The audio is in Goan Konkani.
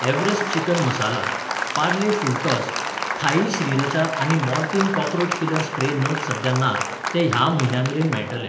Everest chicken masala, Parle full toss, Thai sriracha आनी मोर्टीन कॉकरोच किलर स्प्रे नग सद्या नात, ते ह्या म्हयन्या मेरेन मेळटले.